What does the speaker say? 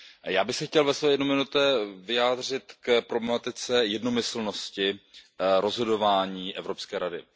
Já bych se chtěl ve své jedné minutě vyjádřit k problematice jednomyslnosti rozhodování Evropské rady.